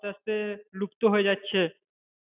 আস্তে আস্তে লুপ্ত হয়ে যাচ্ছে